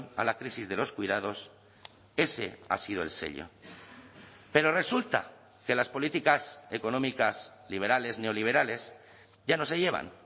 a la crisis de los cuidados ese ha sido el sello pero resulta que las políticas económicas liberales neoliberales ya no se llevan